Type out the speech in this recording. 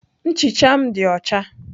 Nchicha m dị ọcha.